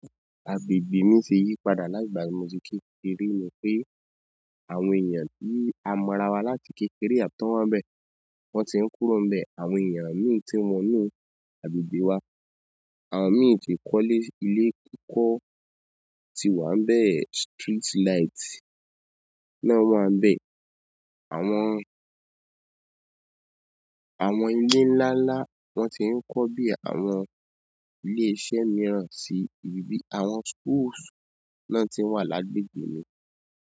Àgbègbè mi ṣe yípadà lágbà tí mo ti kékeré ni pé àwọn èèyàn tí a mọ ara wa láti kékeré tan wọ́n nbẹ, wọ́n ti ń kúrò nbẹ, àwọn èèyàn mí tí n wọ inù àgbègbè wa, àwọn mií ti kọ́lé ile kíkọ́ ti wá ń bẹ̀, streetlight náà wá ń bẹ̀, àwọn, àwọn ilé ńlá ńlá wọ́n ti ń kọ́ bí àwọn ilé iṣẹ́ mìíràn sí ibi ibi, àwọn schools náà tí n wà lágbègbè mi.